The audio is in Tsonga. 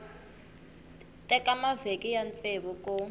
teka mavhiki ya ntsevu ku